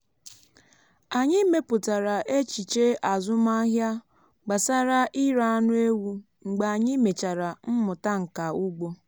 anyị mepụtara echiche azụmahịa gbasara ire anụ ewu mgbe anyị mechara mmụta nka ugbo.